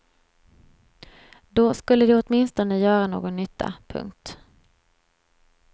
Då skulle de åtminstone göra någon nytta. punkt